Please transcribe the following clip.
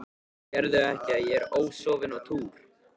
Sérðu ekki að ég er ósofin á túr.